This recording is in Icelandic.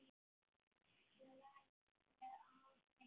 Ég læðist með hádegis